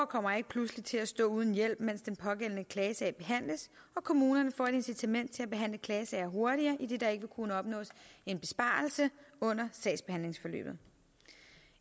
kommer ikke pludselig til at stå uden hjælp mens den pågældende klagesag behandles og kommunerne får et incitament til at behandle klagesager hurtigere idet der ikke vil kunne opnås en besparelse under sagsbehandlingsforløbet